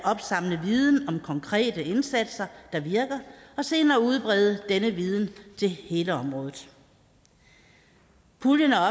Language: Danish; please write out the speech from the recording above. opsamle viden om konkrete indsatser der virker og senere udbrede denne viden til hele området puljen er